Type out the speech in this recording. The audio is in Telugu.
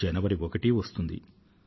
జనవరి ఒకటో తేదీ వస్తుంది